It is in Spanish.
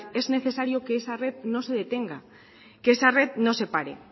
es necesario que esa red no se detenga que esa red no se pare